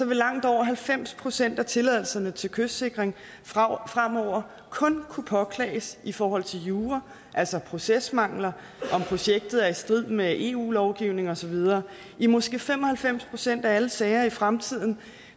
vil langt over halvfems procent af tilladelserne til kystsikring fremover kun kunne påklages i forhold til jura altså procesmangler om projektet er i strid med eu lovgivning og så videre i måske fem og halvfems procent af alle sager i fremtiden